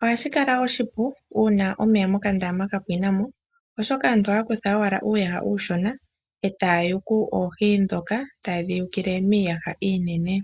Ohashi kala oshipu uuna omeya mokandama gapwinamo oshoka aantu ohaya kutha owala uuyaha uushona etaya yuku oohi ndhoka, tayedhi yukile niiyaha iinene.